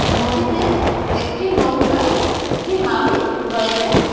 নদীতে একটি নৌকা একটি মাঝি রয়েছে।